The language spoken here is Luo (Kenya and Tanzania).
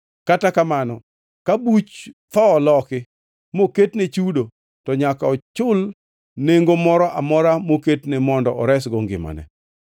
Kata kamano, ka buch tho oloki, moketne chudo, to nyaka ochul nengo moro amora moketne mondo oresgo ngimane.